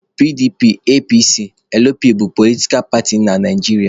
PDP, APC, LP bụ politkal paatị na Naijiria.